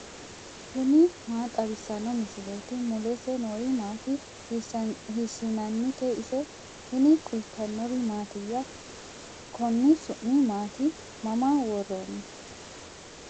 tini maa xawissanno misileeti ? mulese noori maati ? hiissinannite ise ? tini kultannori mattiya? Konni su'mi maatti? Mama woroonni?